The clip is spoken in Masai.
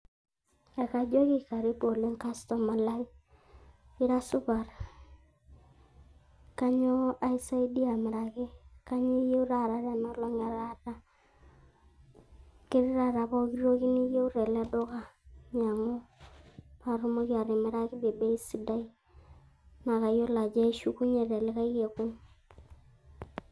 Ekajoki karibu oleng customer lai, ira supat. Kainyio aisaidia amiraki kainyio iyieu taata tena olong e taata ketiii taata poki toki niyieu tele duka inyiang`u, paa atumoki atimiraki te bei sidai naa kayiolo ajo ishukunyie te likae kekun.